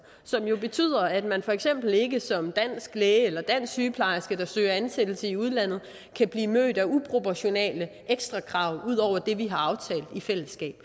som jo betyder at man for eksempel ikke som dansk læge eller dansk sygeplejerske der søger ansættelse i udlandet kan blive mødt af uproportionale ekstra krav ud over det vi har aftalt i fællesskab